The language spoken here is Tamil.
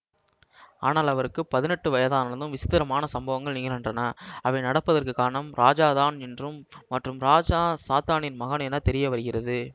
ஆனால் அவருக்கு பதினெட்டு வயதானதும் விசித்திரமான சம்பவங்கள் நிகழ்கின்றன அவை நடப்பதற்கு காரணம் ராஜாதான் என்றும் மற்றும் ராஜா சாத்தானின் மகன் என தெரிய வருகிறது